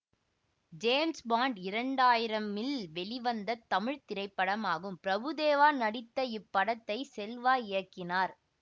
James Bond இரண்டு ஆயிரமில் வெளிவந்த தமிழ் திரைப்படமாகும் பிரபுதேவா நடித்த இப்படத்தை செல்வா இயக்கினார்